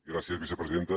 gràcies vicepresidenta